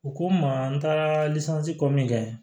U ko n ma n taara ko min kɛ